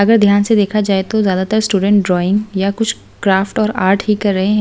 अगर ध्यान से देखा जाए तो ज्यादातर स्टूडेंट ड्राइंग या कुछ क्राफ्ट और आर्ट ही कर रहे हैं।